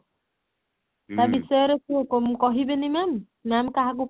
ତା ବିଷୟରେ କ କ କହିବେନି ma'am ma'am କାହାକୁ